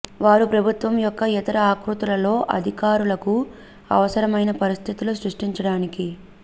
వారు ప్రభుత్వం యెుక్క ఇతర ఆకృతులలో అధికారులకు అవసరమైన పరిస్థితులు సృష్టించడానికి